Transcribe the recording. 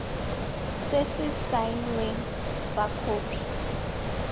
se se saenweng fa khopi